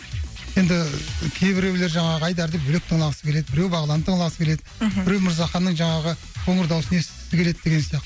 енді кейбіреулер жаңағы айдарды бөлек тыңдағысы келеді біреу бағланды тыңдағысы келеді мхм біреу мырзаханның жаңағы қоңыр дауысын естігісі келеді деген сияқты